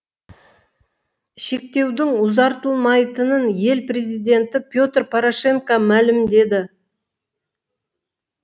шектеудің ұзартылмайтынын ел президенті петр порошенко мәлімдеді